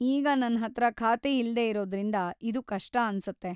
ಈಗ ನನ್ಹತ್ರ ಖಾತೆ ಇಲ್ದೇ ಇರೋದ್ರಿಂದ ಇದು ಕಷ್ಟ ಅನ್ಸತ್ತೆ.